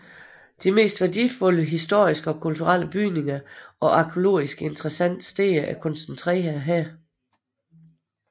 De mest værdifulde historiske og kulturelle bygninger og arkæologisk interessante steder er koncentreret her